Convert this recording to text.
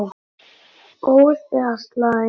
Góð eða slæm?